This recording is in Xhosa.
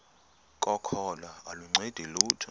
kokholo aluncedi lutho